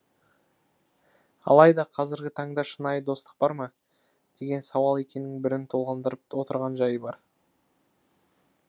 алайда қазіргі таңда шынайы достық бар ма деген сауал екінің бірін толғандырып отырған жайы бар